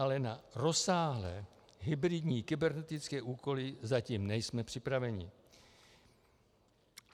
Ale na rozsáhlé hybridní kybernetické úkoly zatím nejsme připraveni.